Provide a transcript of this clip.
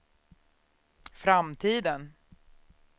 framtiden